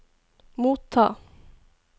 motta